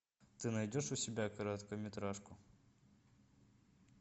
ты найдешь у себя короткометражку